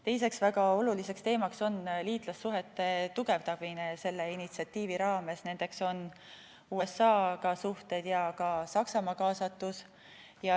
Teine väga oluline teema on liitlassuhete tugevdamine selle initsiatiivi raames, st suhted USA-ga ja ka Saksamaa kaasatus.